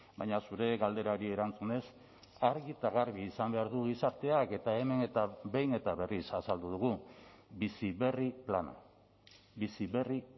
baina zure galderari erantzunez argi eta garbi izan behar du gizarteak eta hemen eta behin eta berriz azaldu dugu bizi berri plana bizi berri